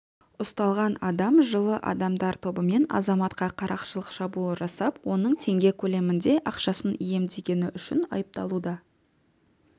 ұсталған адам жылы адамдар тобымен азаматқа қарақшылық шабуыл жасап оның теңге көлемінде ақшасын иемденгені үшін айыпталуда